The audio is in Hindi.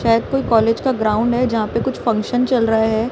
शायद कोई कॉलेज का ग्राउंड है जहां पे कुछ फंक्शन चल रहा है।